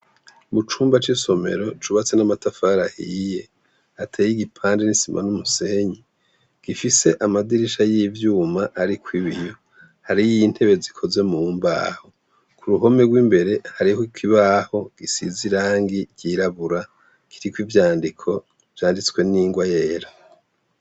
Mu cumba c'isomero cubatse n'amatafari ahiye, hateye igipande c'isima n'umusenyi gifise amadirisha y'ivyuma arikw' ibiyo. Hariy'intebe zikoze mu mbaho. Ku ruhome rw'imbere harih' ikibaho gisize irangi ry'irabura, kiriko ivyandiko vyanditswe n'ingwa yera.